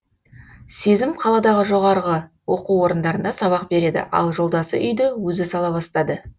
сезім қаладағы жоғарғы оқу орындарында сабақ береді ал жолдасы үйді өзі сала бастады